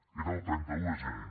era el trenta un de gener